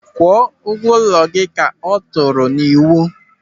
"Kwụọ ụgwọ ụlọ gị", ka ọ tụrụ n'iwu.